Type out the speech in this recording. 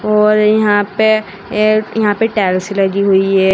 और यहां पे अह यहां पे टाइल्स लगी हुई है।